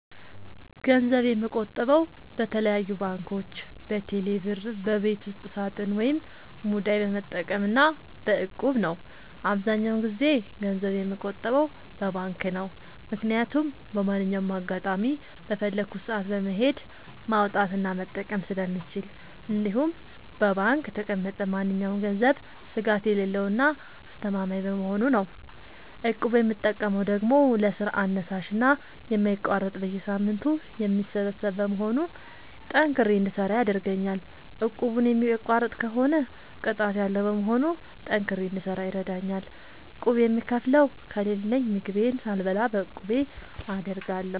ገንዘብ የምቆጥበው በተለያዩ ባንኮች÷በቴሌ ብር ÷በቤት ውስጥ ሳጥን ወይም ሙዳይ በመጠቀም እና በ እቁብ ነው። አብዛኛውን ጊዜ ገንዘብ የምቆጥበው በባንክ ነው። ምክያቱም በማንኛውም አጋጣሚ በፈለኩት ሰአት በመሄድ ማውጣት እና መጠቀም ስለምችል እንዲሁም በባንክ የተቀመጠ ማንኛውም ገንዘብ ስጋት የሌለው እና አስተማማኝ በመሆኑ ነው። እቁብ የምጠቀመው ደግሞ ለስራ አነሳሽና የማይቋረጥ በየሳምንቱ የሚሰበሰብ በመሆኑ ጠንክሬ እንድሰራ ያደርገኛል። እቁቡን የሚቋርጥ ከሆነ ቅጣት ያለዉ በመሆኑ ጠንክሬ እንድሰራ ይረደኛል። ቁብ የምከፍለው ከሌለኝ ምግቤን ሳልበላ ለቁቤ አደርጋለሁ።